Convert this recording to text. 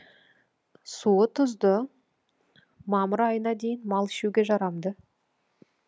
суы тұзды мамыр айына дейін мал ішуге жарамды